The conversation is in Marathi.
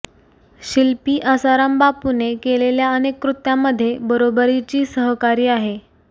शिल्पी आसाराम बापूने केलेल्या अनेक कृत्यामध्ये बरोबरीची सहकारी आहे